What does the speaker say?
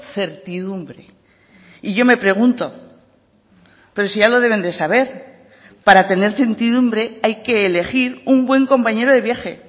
certidumbre y yo me pregunto pero si ya lo deben de saber para tener certidumbre hay que elegir un buen compañero de viaje